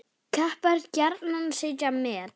Kappar gjarnan setja met.